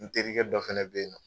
N terikɛ dɔ fɛnɛ be yen nɔ